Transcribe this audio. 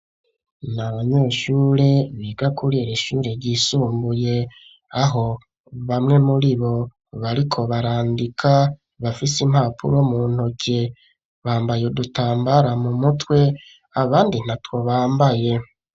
Nabanyeshure biga kuriri shure ryisumbuye aho bamwe muri bo bariko barandika bafise impapuro mu ntoke bambaye udutambara mu mutwe abandi nta two bambaye.